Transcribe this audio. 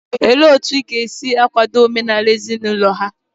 Olee otu ị ga-esi omenala ezinaụlọ ha?